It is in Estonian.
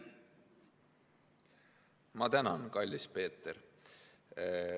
Ma tänan, kallis Peeter!